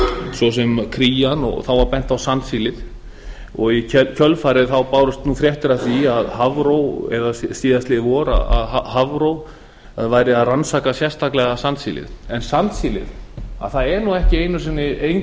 svo sem krían og þá var bent á sandsílið og í kjölfarið bárust fréttir af því eða síðastliðið vor að hafró væri að rannsaka sérstaklega sandsílið en sandsílið er ekki einu sinni